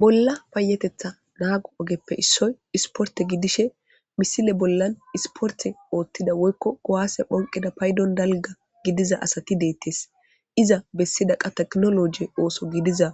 Bolla payetetha naago ogeppe issoy isporte gidishe misile bollan isporte oothtida woykko gowaase phonqida paydon dalga gidiza asati deettes iza bessidaqa teknoloje ooso gidiza